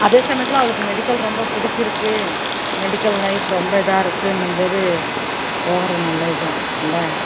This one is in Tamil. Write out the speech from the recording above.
அதே சமயத்துல அவளுக்கு medical ரொம்ப பிடிச்சிருக்கு medical life ரொம்ப இதா இருக்குன்னும் போது போகுறது நல்லது தான் இல்ல